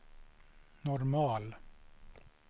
normal